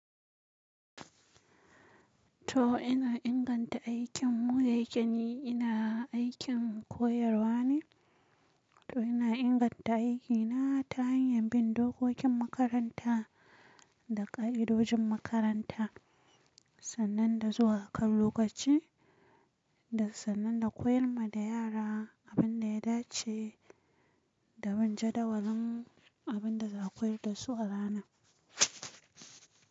To ina inganta aikin mu da yake ni, ina aikin koyarwa ne, to ina inganta aikina ta hanyar bin dokokin makaranta da ka'idojin makaranta, sannan da zuwa a kan lokaci da sannan da koyar ma da yara abin da ya dace da bin jadawalin abin da za a koyar da su a rana.